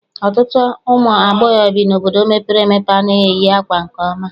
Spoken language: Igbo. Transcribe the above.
Ọtụtụ ụmụ agbọghọ bi n'obodo mepere emepe anaghị eyi ákwà nke ọma.